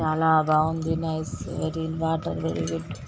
చాలా బాగుంది నైస్ .